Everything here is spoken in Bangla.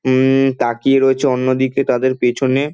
হু-ম-ম তাকিয়ে রয়েছে অন্যদিকে তাদের পেছনে--